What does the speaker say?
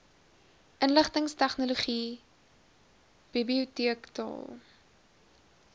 inligtingstegnologie bibioteek taal